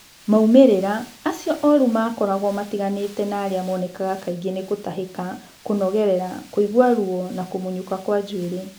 Moimĩrĩra acio moru makoragũo matiganĩte no arĩa monekaga kaingĩ nĩ gũtahĩka, kũnogerera, kũigua ruo na kũmunyũka kwa njuĩrĩ.